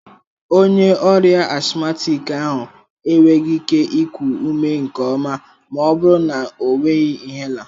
Onye ọrịa asthmatic ahụ enweghị ike iku ume nke ọma ma ọ bụrụ na ọ nweghị inhaler.